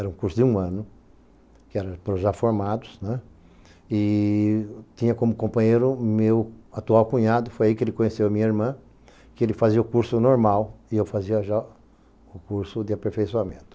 Era um curso de um ano, já já formados né, e tinha como companheiro meu atual cunhado, foi aí que ele conheceu a minha irmã, que ele fazia o curso normal e eu fazia já o curso de aperfeiçoamento.